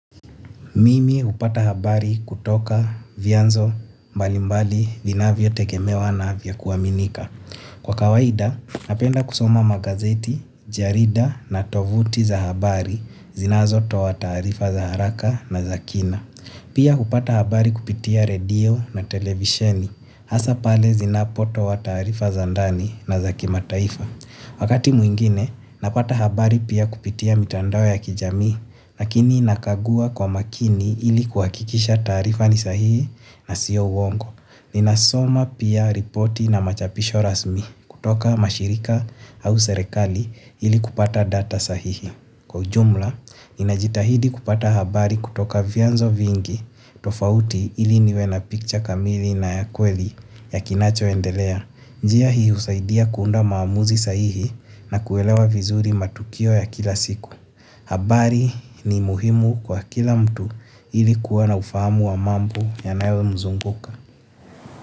Mimi hupata habari kutoka vianzo mbalimbali vinavyo tegemewa na vya kuaminika. Kwa kawaida napenda kusoma magazeti jarida na tovuti za habari zinazotoa taarifa za haraka na za kina. Pia hupata habari kupitia redio na televisheni, hasa pale zinapotoa taarifa za ndani na za kimataifa. Wakati mwingine, napata habari pia kupitia mitandao ya kijami, lakini nakagua kwa makini ili kuhakikisha taarifa ni sahihi na siyo uongo. Ninasoma pia ripoti na machapisho rasmi kutoka mashirika au serekali ili kupata data sahihi. Kwa ujumla, ninajitahidi kupata habari kutoka vianzo vingi tofauti ili niwe na picture kamili na ya kweli ya kinacho endelea. Njia hii husaidia kuunda maamuzi sahihi na kuelewa vizuri matukio ya kila siku. Habari ni muhimu kwa kila mtu ili kuwa na ufahamu wa mambo yanayo nizunguka.